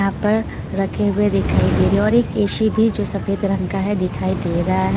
यहाँ पर रखे हुए दिखाई दे रहे हैं और एक ए_शी भी जो सफेद रंग का है दिखाई दे रहा है।